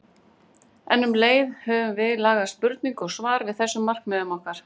En um leið höfum við lagað spurningu og svar að þessum markmiðum okkar.